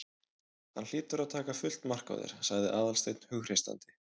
Hann hlýtur að taka fullt mark á þér- sagði Aðalsteinn hughreystandi.